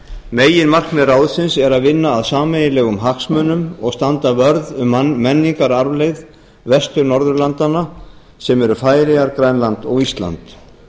meginmarkmið ráðsins er að vinna að sameiginlegum hagsmunum og standa vörð um menningararfleifð vestur norðurlandanna sem eru færeyjar og grænland og ísland